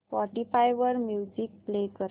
Spotify वर music play कर